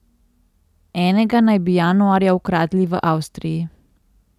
Enega naj bi januarja ukradli v Avstriji.